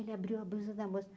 Ele abriu a brusa da moça.